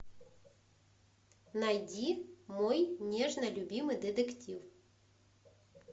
найди мой нежно любимый детектив